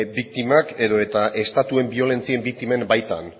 biktimak edo estatuen biolentzien biktimen baitan